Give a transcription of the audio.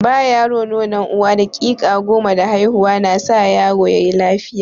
Ba yaro nonon uwa daƙiƙa goma da haihuwa na sa yaro yayi lafiya.